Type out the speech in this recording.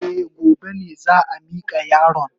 Eh, gobe ne za a mika yaron.